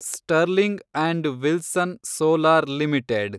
sterling and Wilson solar limited